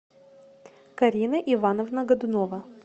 карина ивановна годунова